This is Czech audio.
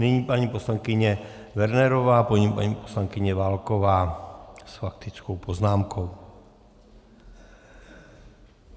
Nyní paní poslankyně Wernerová, po ní paní poslankyně Válková s faktickou poznámkou.